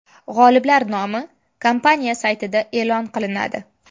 G‘oliblar nomi kompaniya saytida e’lon qilinadi.